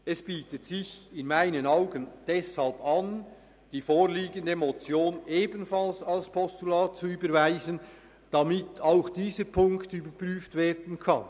Es bietet sich in meinen Augen deshalb an, die vorliegende Motion ebenfalls als Postulat zu überweisen, damit auch dieser Punkt überprüft werden kann.